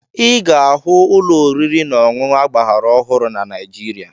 Ị ga-ahụ ụlọ oriri na ọṅụṅụ agbaraọhụrụ na Naịjirịa